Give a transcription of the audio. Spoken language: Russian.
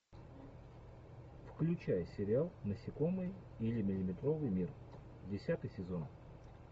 включай сериал насекомые или миллиметровый мир десятый сезон